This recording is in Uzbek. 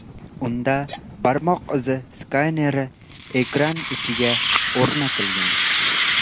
Unda barmoq izi skaneri ekran ichiga o‘rnatilgan.